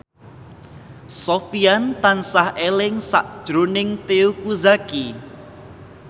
Sofyan tansah eling sakjroning Teuku Zacky